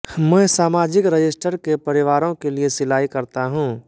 मैं सामाजिक रजिस्टर के परिवारों के लिए सिलाई करता हूं